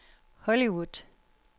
Hollywood